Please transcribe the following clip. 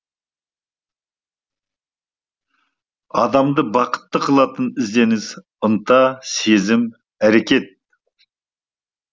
адамды бақытты қылатын ізденіс ынта сезім әрекет